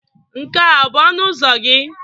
Nke a ọ bụ ọnụ ụzọ gị?